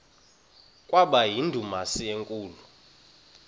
kwaba yindumasi enkulu